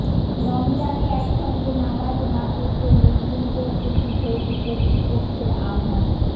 রমজানে একসঙ্গে নামাজ না পড়তে মুসলিমদের প্রতি সৌদি কর্তৃপক্ষের আহ্বান